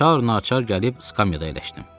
Çağ-naçar gəlib skamyada əyləşdim.